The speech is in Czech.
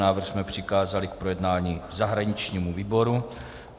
Návrh jsme přikázali k projednání zahraničnímu výboru.